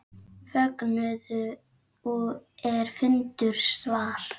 Fögnuðu er fundu svar.